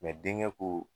denkɛ ko